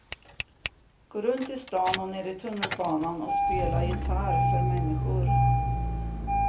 Går runt i stan och nere i tunnelbanan och spelar gitarr för människor.